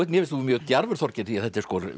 finnst þú mjög djarfur Þorgeir því þetta er